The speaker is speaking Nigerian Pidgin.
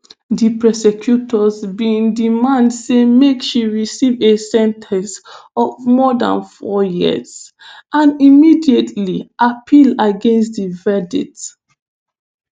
di prosecutors bin demand say make she receive a sen ten ce of more dan four years and immediately appeal against di verdict.